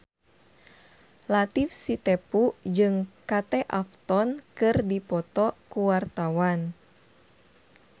Latief Sitepu jeung Kate Upton keur dipoto ku wartawan